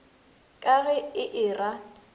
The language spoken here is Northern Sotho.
ka ge e e ra